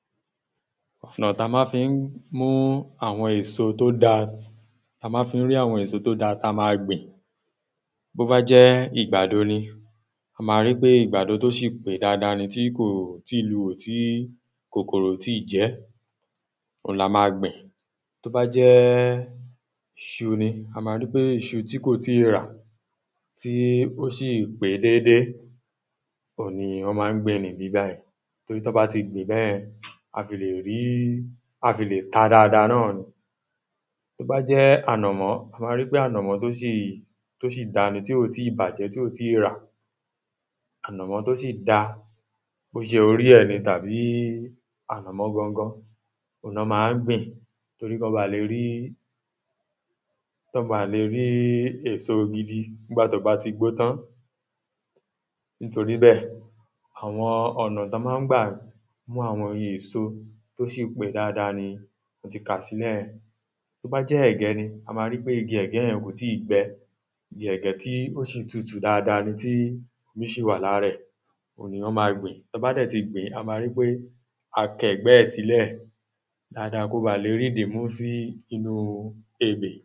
ọna ti a má fi n mu awọn eso to da ti a maa fi n ri awọn eso to dáa ta maa gbin bo ba jẹ igbado ni, a maa ri pe igbado to ṣi pe daadaa ni ti kò ti i luwò ti kòkòrò kò ti i jẹ ẹ, òun la máa gbìn tó ba jẹ iṣu ni a maa ri pe iṣu ti ko tii ra tí ó ṣì pé déédée òun ni wọ́n maá ń gbìn nibi bayìí tori tọ ba ti gbin bẹyẹn, a fi le rii, a fi le ta daadaa naa ni tó bá jẹ ànàmọ́ ti a ba rii pe anamọ to ṣi, to ṣi da ni, tí ò tíì bajẹ, ti ò tíì rà ànàmọ́ tó ṣì da, bo ṣe ori rẹ̀ ni tàbí ànàmọ́ gangan, ni wọ́n maa wá gbìn torí kọ ba le rí kọ ba le rí eso gidi nigbàtí o ba ti gbó tán nítorí bẹ́ẹ̀ àwọn ọ̀nà ti a máa n gbà mu àwọn eso to ṣi pe daadaa ni mo ti kà sílẹ̀ yẹn bó jẹ́ ẹ̀gẹ́ ni, a máa ɹíi pé igi ẹ̀gẹ́ yẹn kò tí i gbẹ igi ẹ̀gẹ́ tí ó ṣì tutù dáadáa ni ti omi ṣì wà lára rẹ òun ni wọ́n maa gbìn tọ́ bá dẹ̀ ti gbin a máa ríi pé a ki ẹ̀gbẹ rẹ̀ sílẹ̀ daadaa ki o ba le ri idi mú sí inu ebè